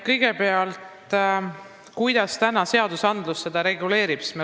Kõigepealt, kuidas seadus seda reguleerib?